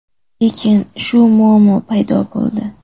Lekin shu muammo paydo bo‘ldi.